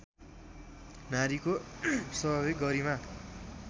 नारीको स्वाभाविक गरिमा